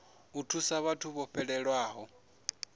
u thusa vhathu vho fhelelwaho